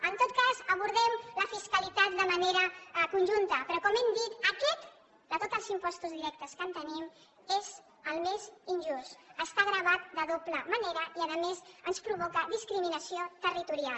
en tot cas abordem la fiscalitat de manera conjunta però com hem dit aquest de tots els impostos directes que tenim és el més injust està gravant de doble manera i a més ens provoca discriminació territorial